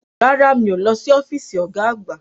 Rárá, mí ó lọ sí ọ́físì ọ̀gá àgbá